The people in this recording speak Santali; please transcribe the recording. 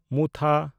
ᱢᱩᱛᱷᱟ